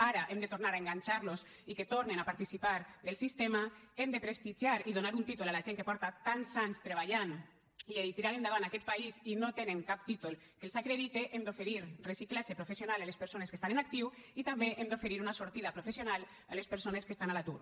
ara hem de tornar a enganxar los i que tornen a participar del sistema hem de prestigiar i donar un títol a la gent que porta tants anys treballant i tirant endavant aquest país i no tenen cap títol que els acredite hem d’oferir reciclatge professional a les persones que estan en actiu i també hem d’oferir una sortida professional a les persones que estan a l’atur